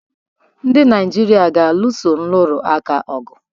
Ndị Naịjirịa ga-alụso nrụrụ aka ọgụ.